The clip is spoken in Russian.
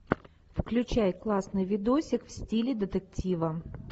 включай классный видосик в стиле детектива